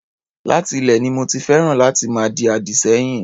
Láti ilè ni mo ti féràn láti máa di àdì sẹ́yìn.